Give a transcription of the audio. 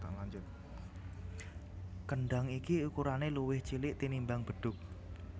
Kendhang iki ukurané luwih cilik tinimbang bedhug